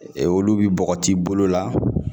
Olu bi bɔgɔti bolo la